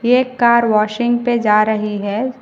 एक car washing पे जा रही है।